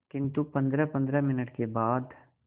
किंतु पंद्रहपंद्रह मिनट के बाद